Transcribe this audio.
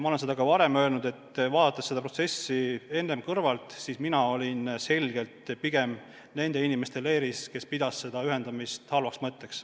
Ma olen seda ka varem öelnud, et vaadates seda protsessi enne kõrvalt, mina olin pigem nende inimeste leeris, kes pidasid seda ühendamist halvaks mõtteks.